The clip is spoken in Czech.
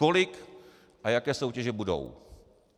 Kolik a jaké soutěže budou?